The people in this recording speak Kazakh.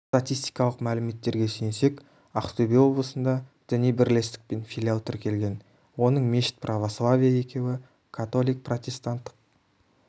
статистикалық мәліметтерге сүйенсек ақтөбе облысында діни бірлестік пен филиал тіркелген оның мешіт православие екеуі католик протестанттық